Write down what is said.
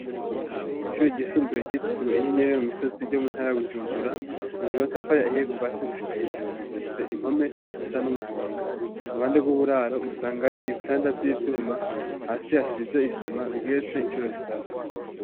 Ishuri ryisumbuye ryitiriwe inyenyeri yo mu misozi ryo mu ntara ya Bujumbura ryubakishije n'amatafari ahiye kuva hasi gushika hejuru, rifise impome zisa n'umuhondo, uruhande rw'uburaro usangayo ibitanda vy'ivyuma, hasi hasize isima, bigeretse incuro zitatu.